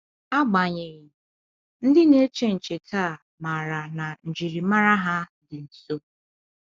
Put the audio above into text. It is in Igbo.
Agbanyeghị, ndị na-eche nche taa maara na njiri mara ha dị nso.